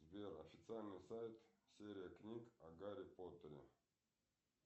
сбер официальный сайт серия книг о гарри поттере